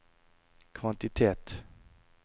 kvantitet